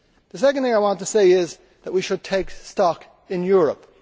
The second thing I want to say is that we should take stock in Europe.